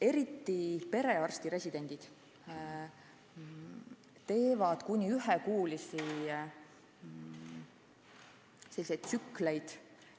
Eriti just perearstiks õppivad residendid teevad kuni ühekuulisi tsükleid